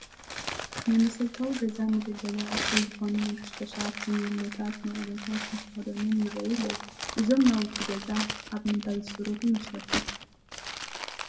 ናይ መሰረታዊ ገዛ መገልገሊ ኣቑሑ ዝኾኑ መንከሽከሻት፣ ፈርኔሎታት፣ መቑሎታት ምስ መኽደኖም ይርአዩ ኣለዉ፡፡ እዞም ናውቲ ገዛ ኣብ ምንታይ ይስርሑ ይመስለኩም?